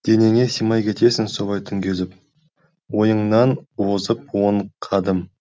денеңе симай кетесің солай түн кезіп ойыңнан озып он қадым